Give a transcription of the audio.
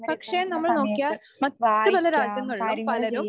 പക്ഷേ നമ്മൾ നോക്കിയാൽ മറ്റു പല രാജ്യങ്ങളിലും പലരും